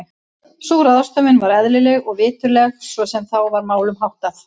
Sú ráðstöfun var eðlileg og viturleg svo sem þá var málum háttað.